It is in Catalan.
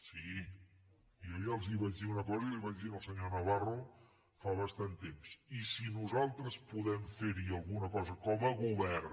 sí jo ja els vaig dir una cosa i li vaig dir al senyor navarro fa bastant temps i si nosaltres podem fer hi alguna cosa com a govern